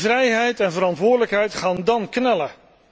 Vrijheid en verantwoordelijkheid gaan dan knellen.